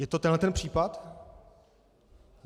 Je to tenhle ten případ?